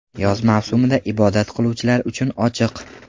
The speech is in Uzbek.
Yoz mavsumida ibodat qiluvchilar uchun ochiq.